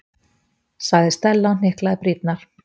sagði Stella og hnyklaði brýnnar.